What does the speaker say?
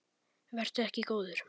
Vertu ekki góður.